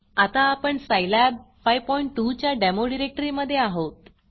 आत्ता आपण सायलॅब 52 च्या डेमो डिरेक्टरीमधे आहोत